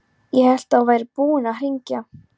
Ég hélt að þú værir búinn að hringja.